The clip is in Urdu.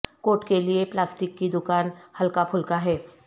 کوٹ کے لئے پلاسٹک کی دکان ہلکا پھلکا ہے